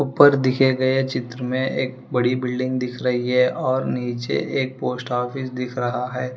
ऊपर दिखे गए चित्र में एक बड़ी बिल्डिंग दिख रही है और नीचे एक पोस्ट ऑफिस दिख रहा है।